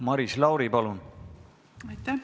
Maris Lauri, palun!